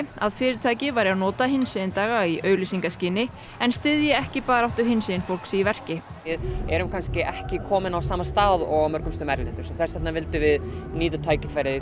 að fyrirtæki væru að nota hinsegin daga í auglýsingaskyni en styðji ekki baráttu hinsegin fólks í verki við erum ekki komin á sama stað og á mörgum stöðu erlendis þess vegna vildum við nýta tækifærið